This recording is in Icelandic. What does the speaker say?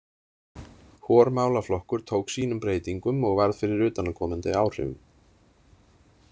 Hvor málaflokkur tók sínum breytingum og varð fyrir utanaðkomandi áhrifum.